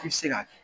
I bi se ka kɛ